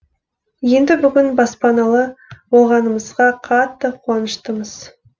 енді бүгін баспаналы болғанымызға қатты қуаныштымыз